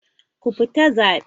Ku fita zabe!